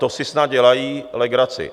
To si snad dělají legraci.